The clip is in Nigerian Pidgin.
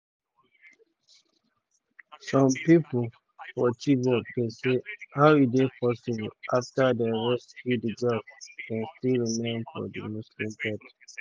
"some pipo um for chibok dey say: 'how e dey possible afta dem rescue di girls dem still remain for di muslim faith?'"